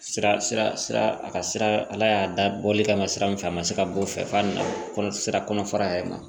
Sira sira a ka sira ala y'a da bɔli kama sira min fɛ a ma se ka bɔ o fɛ f'a na sira kɔnɔ fara yɛrɛ ma